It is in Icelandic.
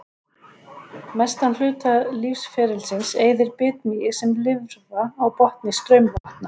Mestan hluta lífsferilsins eyðir bitmýið sem lirfa á botni straumvatna.